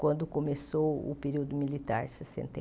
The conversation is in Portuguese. Quando começou o período militar, sessenta e